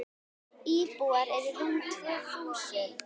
Íbúar eru rúm tvö þúsund.